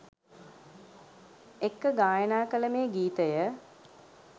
එක්ක ගායනා කල මේ ගීතය